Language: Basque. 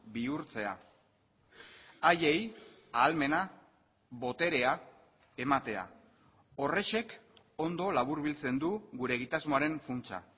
bihurtzea haiei ahalmena boterea ematea horrexek ondo laburbiltzen du gure egitasmoaren funtsa